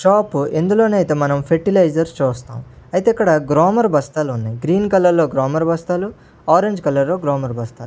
చాపు ఎందులోనైతే మనం ఫెర్టిలైజర్స్ చూస్తాం అయితే ఇక్కడ గ్రోమోర్ బస్తాలు ఉన్నాయి గ్రీన్ కలర్ లో గ్రోమర్ బస్తాలు ఆరంజ్ కలర్ లో గ్రోమర్ బస్తాలు.